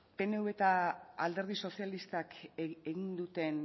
pnv eta alderdi sozialistak egin duten